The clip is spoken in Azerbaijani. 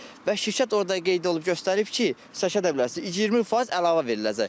Və şirkət orada qeyd olub göstərib ki, eşidə bilərsiniz, 20% əlavə veriləcək.